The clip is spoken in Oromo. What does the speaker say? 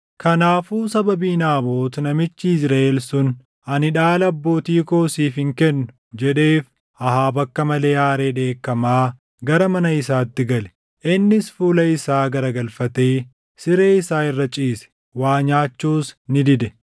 Kanaafuu sababii Naabot namichi Yizriʼeel sun “Ani dhaala abbootii koo siif hin kennu” jedheef Ahaab akka malee aaree dheekkamaa gara mana isaatti gale. Innis fuula isaa garagalfatee siree isaa irra ciise; waa nyaachuus ni dide.